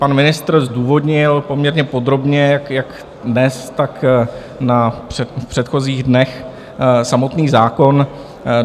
Pan ministr zdůvodnil poměrně podrobně jak dnes, tak v předchozích dnech samotný zákon.